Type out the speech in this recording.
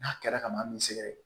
N'a kɛra kaban b'i sɛgɛrɛ